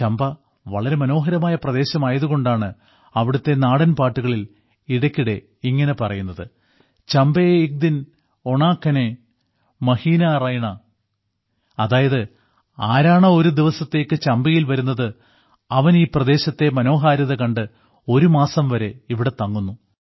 ചമ്പ വളരെ മനോഹരമായ പ്രദേശമായതുകൊണ്ടാണ് അവിടത്തെ നാടൻപാട്ടുകളിൽ ഇടയ്ക്കിടെ ഇങ്ങനെ പറയുന്നത് ചമ്പേ ഇക് ദിൻ ഓണാ കനേ മഹീനാ റൈണാ അതായത് ആരോണോ ഒരു ദിവസത്തേക്ക് ചമ്പയിൽ വരുന്നത് അവൻ ഈ പ്രദേശത്തെ മനോഹാരിത കണ്ട് ഒരുമാസം വരെ ഇവിടെ തങ്ങുന്നു